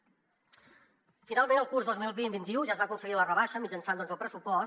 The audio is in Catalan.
finalment al curs dos mil vint vint un ja es va aconseguir la rebaixa mitjançant el pressupost